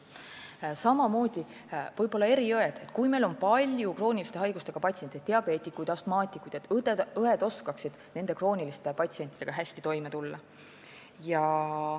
Samamoodi võib-olla eriõed, et kui meil on palju krooniliste haigustega patsiente, näiteks diabeetikuid ja astmaatikuid, et õed oskaksid siis nendega hästi toime tulla.